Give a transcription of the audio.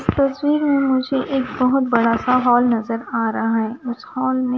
तस्वीर में मुझे एक बहुत बड़ा सा हॉल नजर आ रहा है उस हॉल में--